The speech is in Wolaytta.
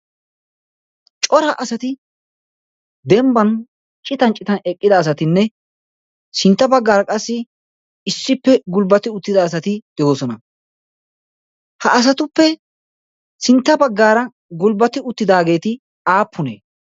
Cora asati dembban citan citan eqqida asatinne sintta baggaara qassi issippe gulbbati uttida asati doossona. ha asatuppe sintta baggaara gulbbati uttidaageeti aappunee?